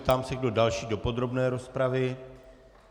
Ptám se, kdo další do podrobné rozpravy.